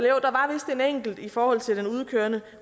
eller enkelt i forhold til den udkørende